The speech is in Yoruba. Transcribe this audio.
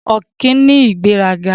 Ọ̀kín ní ìgbéraga.